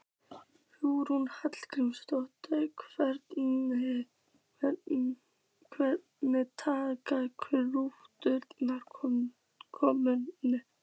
Hugrún Halldórsdóttir: Hvernig taka kúnnarnir komunni?